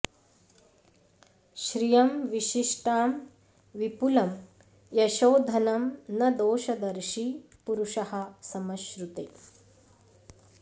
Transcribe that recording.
श्रियं विशिष्टां विपुलं यशो धनं न दोषदर्शी पुरुषः समश्नुते